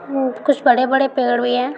अ कुछ बड़े-बड़े पेड़ भी है।